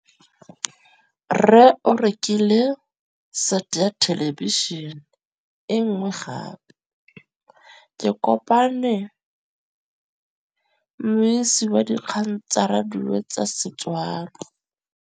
Rre o rekile sete ya thêlêbišênê e nngwe gape. Ke kopane mmuisi w dikgang tsa radio tsa Setswana.